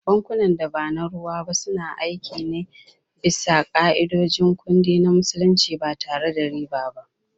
Bankunan da ba na ruwa ba suna aiki ne bisa ka’idojin kudi na Musulunci ba tare da riba ba.